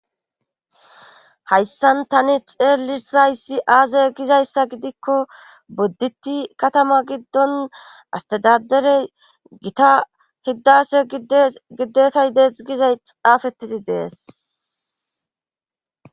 Hayssan tani xeelisayssi aaze gizayssa gidikko bodditti katama giddon astadaderey gita hiddase dgidetay deet gizay xaafettizi dees.